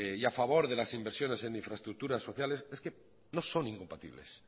y a favor de las inversiones en infraestructuras sociales es que no son incompatibles